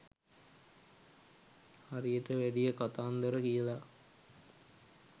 හරි වැඩිය කථාන්දර කියලා